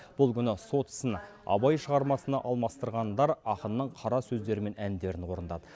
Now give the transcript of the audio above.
бұл күні сот ісін абай шығармасына алмастырғандар ақынның қара сөздері мен әндерін орындады